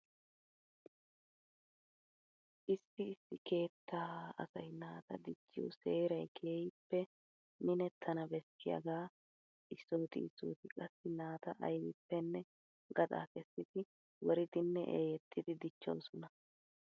Issi issi keettaa asay naata dichchiyo seeray keehippe minettana bessiyagaa. Issooti issooti qassi naata aybippenne gaxa kessidi woridinne eeyettidi dichchoosona.